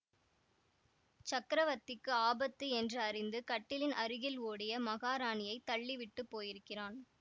சக்கரவர்த்திக்கு ஆபத்து என்று அறிந்து கட்டிலின் அருகில் ஓடிய மகாராணியைத் தள்ளி விட்டு போயிருக்கிறான்